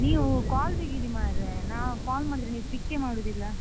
ನೀವು call ತೆಗೀರಿ ಮಾರ್ರೆ, ನಾವ್ call ಮಾಡಿದ್ರೆ ನೀವ್ pick ಕ್ಕೆ ಮಾಡುದಿಲ್ಲಾ?